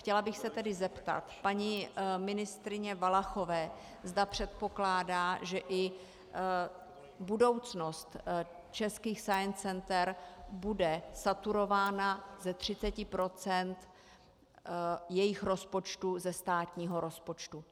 Chtěla bych se tedy zeptat paní ministryně Valachové, zda předpokládá, že i budoucnost českých science center bude saturována ze 30 % jejich rozpočtu ze státního rozpočtu.